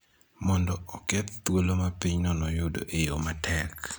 mondo oketh thuolo ma pinyno noyudo eyo matek.